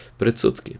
Predsodki?